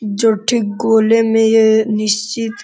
जो ठीक गोले में ये निश्चित --